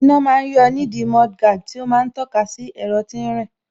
Iná ma ń yọ nídìí mudguard tí ó ma ń tọ́ka sí ẹ̀rọ tí ń rìn